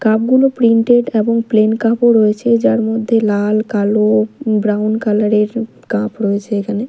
Cup -গুলো printed এবং plain cup -ও রয়েছে যার মধ্যে লাল কালো ব্রাউন কালার -এর কাপ রয়েছে এখানে।